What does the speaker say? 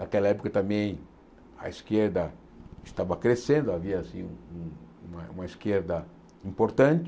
Naquela época também a esquerda estava crescendo, havia assim um uma uma esquerda importante.